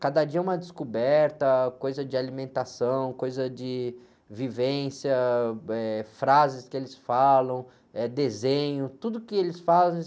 Cada dia é uma descoberta, coisa de alimentação, coisa de vivência, eh, frases que eles falam, eh, desenho, tudo que eles fazem.